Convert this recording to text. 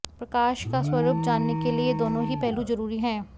प्रकाश का स्वरूप जानने के लिए ये दोनों ही पहलू जरूरी हैं